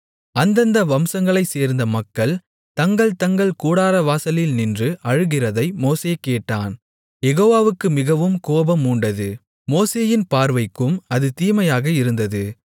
அந்தந்த வம்சங்களைச் சேர்ந்த மக்கள் தங்கள் தங்கள் கூடாரவாசலில் நின்று அழுகிறதை மோசே கேட்டான் யெகோவாவுக்கு மிகவும் கோபம் மூண்டது மோசேயின் பார்வைக்கும் அது தீமையாக இருந்தது